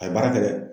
A ye baara kɛ dɛ